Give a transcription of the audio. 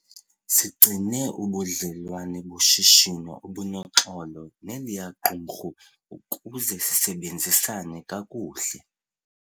Sigcine ubudlelwane boshishino obunoxolo neliya qumrhu ukuze sisebenzisane kakuhle.